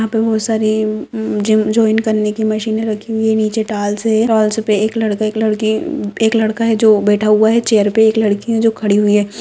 यह पे बहुत सारी जिम जॉइन करने की मशीने राखी हुए है नीचे टाइल्स है टाइल्स पे एक लड़का एक लड़की एक लड़का है जो बैठा हुआ है चैर पे एक लड़की है जो खड़ी हुई है ।